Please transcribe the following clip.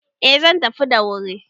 Eh zan tafi da wuri